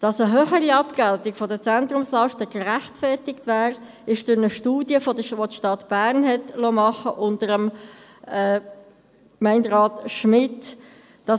Dass eine höhere Abgeltung der Zentrumslasten gerechtfertigt wäre, zeigt eine Studie, welche die Stadt Bern unter Gemeinderat Schmidt erstellt hatte.